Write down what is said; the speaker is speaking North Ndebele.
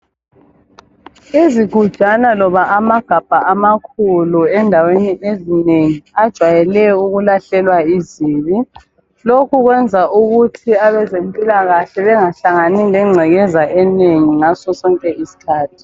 Izigujana loba amagabha amakhulu endaweni ezinengi ajwayele ukulahlelwa izibi. Lokhu kwenza ukuthi abezempilakahle bengahlangani lengcekeza enengi ngaso sonke isikhathi.